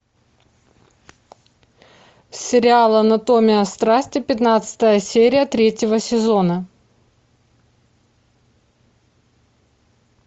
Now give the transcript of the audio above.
сериал анатомия страсти пятнадцатая серия третьего сезона